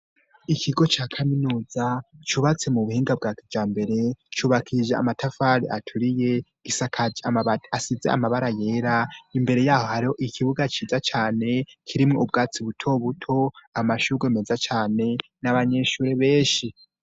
Ikigo ca kaminuza cubatse mu buhinga bwa kija mbere cubakije amatafari aturiye gisakaje mabaasize amabara yera imbere yaho hari ikibuga ciza cane kirimwo ubwatsi butobuto amashuru meza cane n'abanyeshure benshi.